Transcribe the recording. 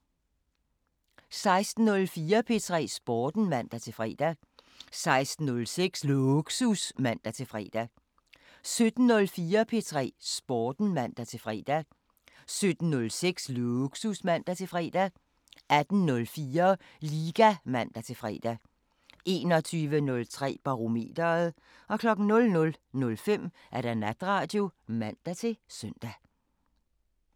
16:04: P3 Sporten (man-fre) 16:06: Lågsus (man-fre) 17:04: P3 Sporten (man-fre) 17:06: Lågsus (man-fre) 18:04: Liga (man-fre) 21:03: Barometeret 00:05: Natradio (man-søn)